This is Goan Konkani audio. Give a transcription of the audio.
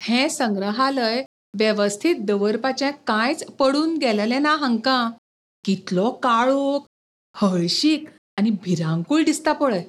हें संग्रहालय वेवस्थीत दवरपाचें कांयच पडून गेल्लें ना हांकां.कितलो काळोख, हळशीक आनी भिरांकूळ दिसता पळय.